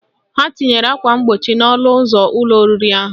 Ha tinyere akwa mgbochi n'ọnụ ụzọ ụlọ oriri ahụ